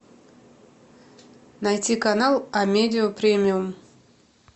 найти канал амедиа премиум